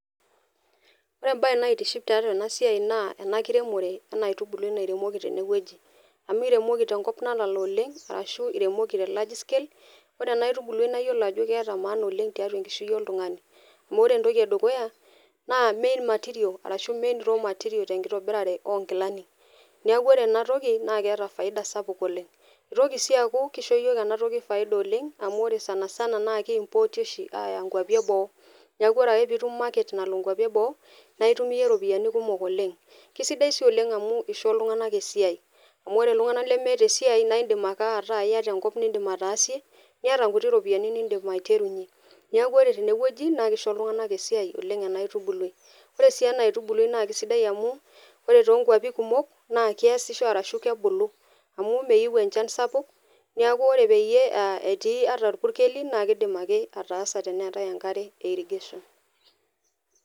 Ore embae naitiship tiatua ena siai naa ena kiremore ena aitubului natuunoki tene wueji . Amu iremoki tenkop nalala oleng arashu iremoki te large scale .Ore ena aitubului naa iyiolo ajo keeta maana oleng , tiatua enkishui oltungani . Amu ore entoki edukuya naa main material arashu main raw material tenkitobirare onkilani. Niaku ore ena toki naa keeta faida sapuk oleng. Itoki sii aaku kisho yiook ena toki faida oleng amu ore sanasana naa kiimporti oshi aya nkwapi eboo . Niaku ore ake piitum market nalo nkwapi eboo naa itum iyie iropiyiani kumok oleng. Kisidai si oleng amu isho iltunganak esiai , amu ore iltunganak lemeeta esiai naa indim ake ataa iyata enkop nindim ataasie , niata nkuti norpiyiani nindim aiterunyie . Niaku ore tene wueji naa kisho iltunganak esiai oleng enaa aitubului. Ore sii ena aitubului naa kisidai amu ore toonkwapi kumok naa keashisho ashu kebulu , amu meyieu enchan sapuk , niaku ore peyie a etii ata irpukeli naa kidima ake ataas teneetae enkare e irrigation.